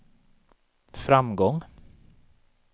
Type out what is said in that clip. framgång